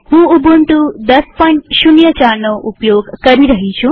હું ઉબુન્ટુ ૧૦૦૪નો ઉપયોગ કરી રહી છું